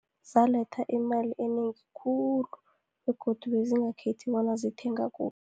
Zaletha imali enengi khulu, begodu bezingakhethi bona zithenga kuphi.